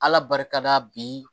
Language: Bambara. Ala barika la bi